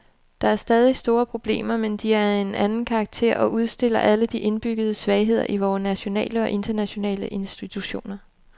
Der er stadig store problemer, men de er af en anden karakter og udstiller alle de indbyggede svagheder i vore nationale og internationale institutioner.